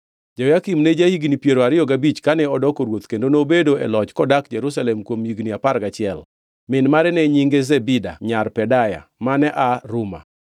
Jehoyakim ne ja-higni piero ariyo gabich kane odoko ruoth kendo nobedo e loch kodak Jerusalem kuom higni apar gachiel. Min mare ne nyinge Zebida nyar Pedaya; mane aa Ruma.